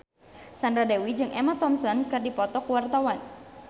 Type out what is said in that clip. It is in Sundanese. Sandra Dewi jeung Emma Thompson keur dipoto ku wartawan